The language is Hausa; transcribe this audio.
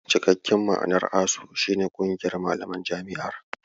Cikakken ma'anar "ASUU" shi ne "Ƙungiyar Malaman Jami'ar".